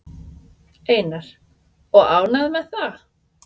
Einar: Og ánægð með það?